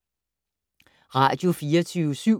Radio24syv